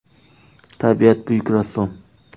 Tabiat buyuk rassom!